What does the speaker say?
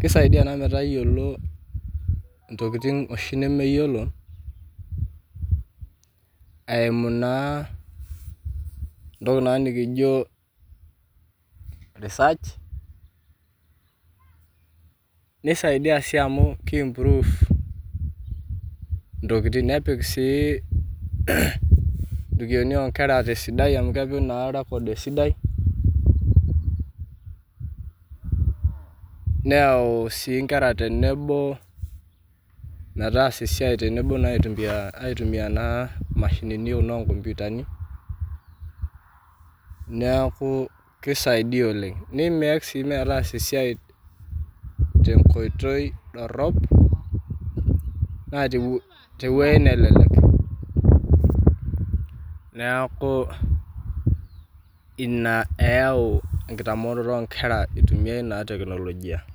keisaidia naa metayolo ntokitin oshi nemeyiolo eimu naa ntoki naa nikijo research neisaidia sii amuu keimprove ntokitin nepik sii onkera weji sidai amu kepik naa erecord sidai, neyau sii inkera tenebo metaasa esiaai tenebo naa aitumiyaa enaa mashinini enaa nkomputani, neaku keisaidia oleng, neimeek sii metaasa te nkoitoi dorop naa te weji nelelek, neaku ina eyau nkitamooroto oonkera eitumiaya ena teknolojia.